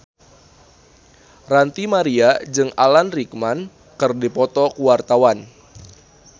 Ranty Maria jeung Alan Rickman keur dipoto ku wartawan